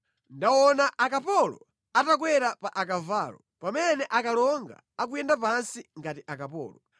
Ndaona akapolo atakwera pa akavalo, pamene akalonga akuyenda pansi ngati akapolo.